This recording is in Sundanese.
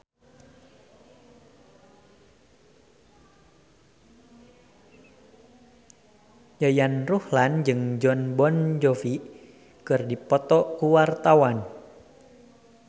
Yayan Ruhlan jeung Jon Bon Jovi keur dipoto ku wartawan